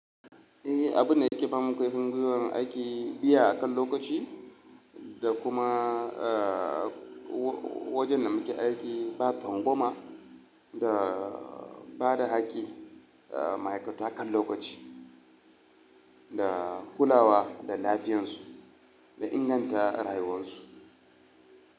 Eh, abun da yake bamu ƙarfin gwiwar aiki biya akan lokaci da kuma, eh, wajen da muke aiki ba tsangwama da bada hakki, eh, ma'aikatu hakan lokaci da kulawa da lafiyarsu da inganta rayuwarsu.